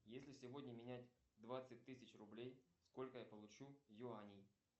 если сегодня менять двадцать тысяч рублей сколько я получу юаней